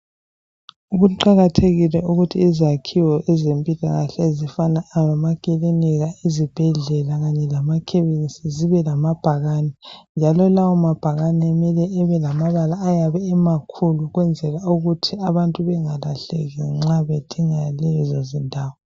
Kuqathekile ukuthi izakhiwo ezempilakahle ezifana lamakilinika , izibhedlela kanye lama khemisi zibe kamabhakane , njalo lawa mabhakane mele ebe lamabala ayabe emakhulu ukwenzela ukuthi abantu bengalahleki nxa bedinga lezozindawo